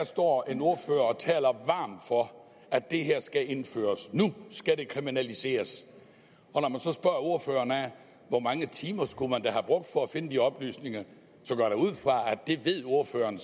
står en ordfører og taler varmt for at det her skal indføres og nu skal det kriminaliseres og når man så spørger ordføreren hvor mange timer skulle have brugt for at finde de oplysninger går jeg ud fra at det ved ordføreren